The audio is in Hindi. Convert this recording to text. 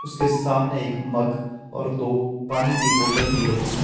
उसके सामने एक मग और दो पानी की बोतल भी रखी है।